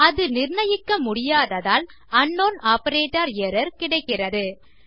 அதை நிர்ணயிக்க முடியாததால் அங்க்னவுன் ஆப்பரேட்டர் எர்ரர் கிடைக்கிறது